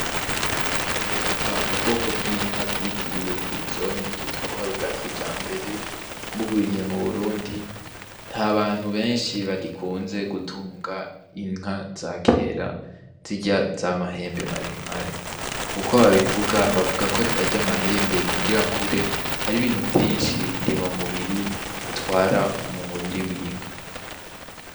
Kuva ubwoko bw'inka bwitiriwe filizone bwitwa ko ari ubwa kijambere burwiriye mu burundi nta bantu benshi bagikunze gutunga inka za kera zirya z'amahembe maremare uko babivuga bavuga ko zarya amahembe kugira akure har'ibintu vyinshi ndimamubiri atwara mu mubiri w’inka.